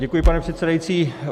Děkuji, pane předsedající.